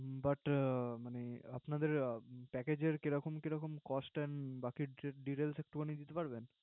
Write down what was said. But আপনাদের Package এর কি রকম রকম Cost and বাকি Details একটুখানি দিতে পারবেন।